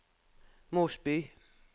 Mosby